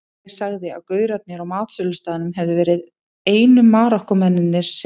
Ég sagði að gaurarnir á matsölustaðnum hefðu verið einu Marokkómennirnir sem